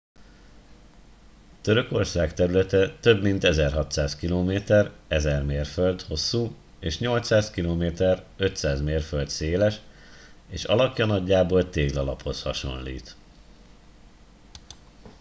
törökország területe több mint 1600 km 1000 mérföld hosszú és 800 km 500 mérföld széles és alakja nagyjából téglalaphoz hasonlít